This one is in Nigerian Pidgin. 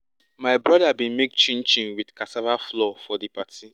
my brother bin make chin chin with cassava flour for di party